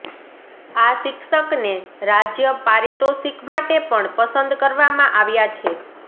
આ શિક્ષકને રાજ્ય પારિતોષીક માટે પણ પસંદ કરવામાં આવ્યા છે